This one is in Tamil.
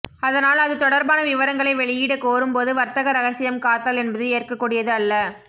அதனால் அது தொடர்பான விவரங்களை வெளியிட கோரும் போது வர்த்தக ரகசியம் காத்தல் என்பது ஏற்கக்கூடியது அல்ல